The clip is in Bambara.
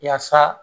Yaasa